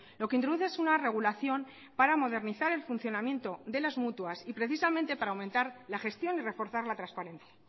lo que introduce es una regulación para modernizar el funcionamiento de las mutuas y precisamente para aumentar la gestión y reforzar la transparencia